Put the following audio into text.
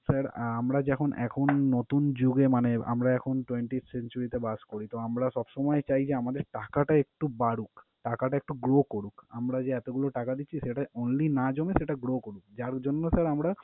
Sir আমরা যখন এখন নতুন যুগে মানে আমরা এখন twenty century তে বাস করি। তো আমরা সবসময়ই চাই যে আমাদের টাকাটা একটু বাড়ুক, টাকাটা একটু grow করুক। আমরা যে এতগুলো টাকা দিচ্ছি সেটা only না জমে, সেটা grow করুক যার জন্য sir আমরা